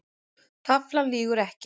Taflan lýgur ekki